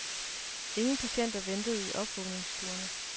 Ingen patienter ventede i opvågningsstuerne.